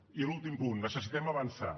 i l’últim punt necessitem avançar